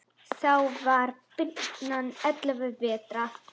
Þá var birnan ellefu vetra.